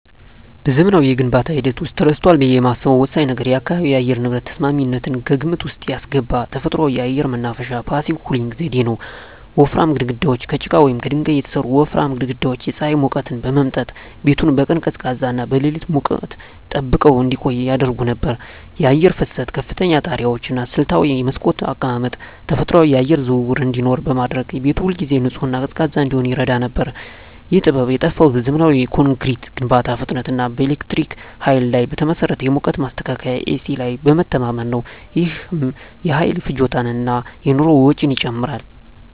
በዘመናዊው የግንባታ ሂደት ውስጥ ተረስቷል ብዬ የማስበው ወሳኝ ነገር የአካባቢ የአየር ንብረት ተስማሚነትን ከግምት ውስጥ ያስገባ ተፈጥሯዊ የአየር ማናፈሻ (Passive Cooling) ዘዴ ነው። ወፍራም ግድግዳዎች: ከጭቃ ወይም ከድንጋይ የተሠሩ ወፍራም ግድግዳዎች የፀሐይን ሙቀት በመምጠጥ ቤቱን በቀን ቀዝቃዛና በሌሊት ሙቀት ጠብቀው እንዲቆይ ያደርጉ ነበር። የአየር ፍሰት: ከፍተኛ ጣሪያዎች እና ስልታዊ የመስኮት አቀማመጥ ተፈጥሯዊ የአየር ዝውውር እንዲኖር በማድረግ ቤቱ ሁልጊዜ ንጹህና ቀዝቃዛ እንዲሆን ይረዳ ነበር። ይህ ጥበብ የጠፋው በዘመናዊ ኮንክሪት ግንባታ ፍጥነት እና በኤሌክትሪክ ኃይል ላይ በተመሠረተ የሙቀት ማስተካከያ (ኤሲ) ላይ በመተማመን ነው። ይህም የኃይል ፍጆታን እና የኑሮ ወጪን ጨምሯል።